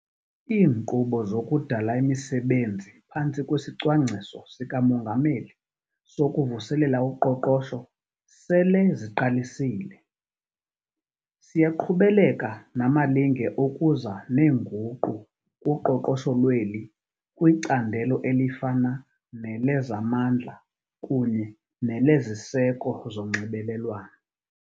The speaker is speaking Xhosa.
Iinkqubo zokudala imisebenzi phantsi kwesiCwangciso sikaMongameli sokuVuselela uQoqosho sele ziqalisile. Siyaqhubeleka namalinge okuza neenguqu kuqoqosho lweli kwicandelo elifana nelezamandla kunye neleziseko zonxibelelwano.